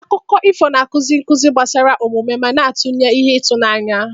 Akụkọ ifo na-akụzi nkuzi gbasara omume ma na-akụnye ihe ịtụnanya.